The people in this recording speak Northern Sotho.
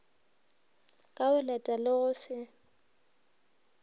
ka boleta le go se